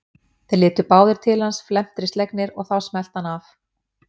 Þeir litu báðir til hans felmtri slegnir og þá smellti hann af.